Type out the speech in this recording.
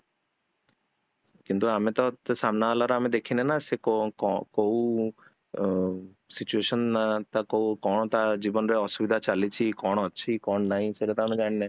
କିନ୍ତୁ ଆମେତ ସାମନା ବାଲାର ଆମେ ଦେଖିନେ ନା ସେ କୋଉ ଅ situation ଅ କଣ ତା ଜୀବନ ରେ କଣ ଅସୁବିଧା ଚାଲିଛି କଣ ଅଛି କଣ ନାହିଁ ସେଟା ତ ଆମେ ଜାଣିନେ